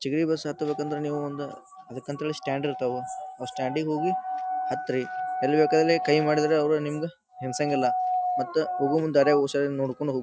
ಚಿಗರಿ bus ಹತ್ ಬೇಕಂದ್ರ ನಿವು ಒಂದ್ ಅದ್ಕ ಅಂತ್ಹೇಳಿ ಸ್ಟಾಂಡ್ ಇರ್ತಾವ ಅವು ಸ್ಟ್ಯಾಂಡ್ ಇಗ್ ಹೋಗಿ ಹತ್ರಿ. ಎಲ್ ಬೇಕಾದಲ್ಲಿ ಕೈ ಮಾಡಿದ್ರ ಅವ್ರು ನಿಮ್ಗೆ ನಿಲ್ಸನ್ಗ್ ಇಲ್ಲ. ಮತ್ತ ಹೋಗುಮುಂದ ದಾರ್ಯಾಗ ಹುಷಾರ್ ಆಗಿ ನೋಡ್ಕಂಡ್ ಹೋ --